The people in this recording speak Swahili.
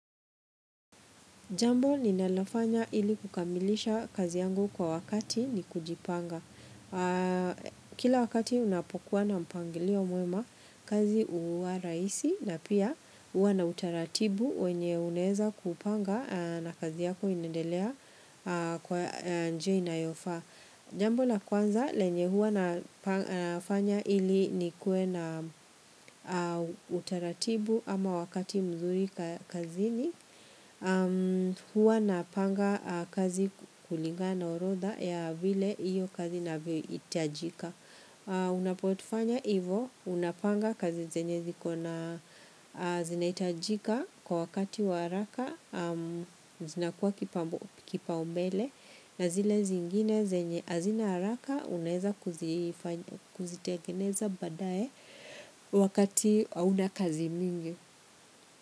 Jambo ninalofanya ili kukamilisha kazi yangu kwa wakati ni kujipanga. Kila wakati unapokuwa na mpangilio mwema kazi huwa rahisi na pia huwa na utaratibu wenye unaeza kupanga na kazi yako inendelea kwa njia inayofaa. Jambo na kwanza lenye huwa nafanya ili nikuwe na utaratibu ama wakati mzuri kazi ni huwa na panga kazi kulinga na orodha ya vile hiyo kazi inavohitajika. Unapotufanya hivo unapanga kazi zenye zinaitajika kwa wakati wa haraka zinakuwa kipaumbele na zile zingine hazina haraka unaeza kuzitegeneza badae wakati hauna kazi mingi.